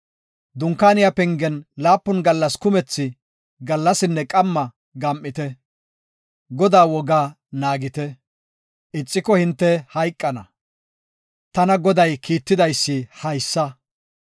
Dunkaaniya pengen laapun gallas kumethi gallasinne qamma gam7ite; Godaa wogaa naagite; ixiko hinte hayqana. Tana Goday kiittiday haysa.